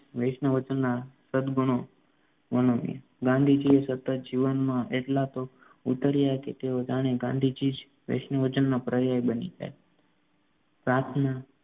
વૈષ્ણવજનના સદ્દગુણો ગાંધીજી સતત જીવનમાં એટલા તો ઉતર્યા કે તેઓ જાણે ગાંધીજી જ વૈષ્ણવજનનો પર્યાય બની જાય પ્રાર્થના